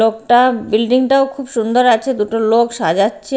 লোকটা বিল্ডিংটাও খুব সুন্দর আছে দুটো লোক সাজাচ্ছে--